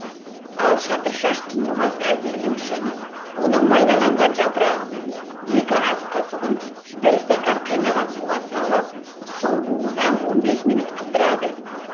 ал шатыршаш тұндырмасын әзірлеу үшін оның майдаланған жапырағының екі ас қасығын бір стақан қайнаған суға салып су буына он бес минут қыздырады